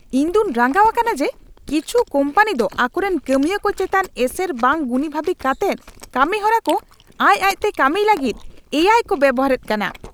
ᱤᱧ ᱫᱚᱧ ᱨᱟᱸᱜᱟᱣ ᱟᱠᱟᱱᱟ ᱡᱮ ᱠᱤᱪᱷᱩ ᱠᱳᱢᱯᱟᱱᱤ ᱫᱚ ᱟᱠᱚᱨᱮᱱ ᱠᱟᱹᱢᱤᱭᱟᱹ ᱠᱚ ᱪᱮᱛᱟᱱ ᱮᱥᱮᱨ ᱵᱟᱝ ᱜᱩᱱᱤᱵᱷᱟᱵᱤ ᱠᱟᱛᱮᱫ ᱠᱟᱹᱢᱤᱦᱚᱨᱟ ᱠᱚ ᱟᱡ ᱟᱡᱛᱮ ᱠᱟᱹᱢᱤᱭ ᱞᱟᱹᱜᱤᱫ ᱮ ᱟᱭ ᱠᱚ ᱵᱮᱵᱚᱦᱟᱨᱮᱫ ᱠᱟᱱᱟ ᱾